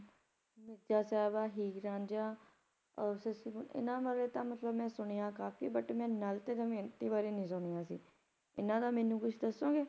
ਮਿਰਜ਼ਾ ਸਾਹਿਬਾ ਹੀਰ ਰਾਂਝਾ ਸੱਸੀ ਪੁੰਨੁ ਇਹਨਾਂ ਬਾਰੇ ਤਾਂ ਮਤਲਬ ਮੈਂ ਸੁਣਿਆ ਕਾਫੀ but ਮੈਂ ਨਲ ਤੇ ਦਮਿਅੰਤੀ ਬਾਰੇ ਨਹੀਂ ਸੁਣਿਆ ਸੀ ਇਹਨਾਂ ਦਾ ਮੈਨੂੰ ਕੁਛ ਦਸੋਂਗੇ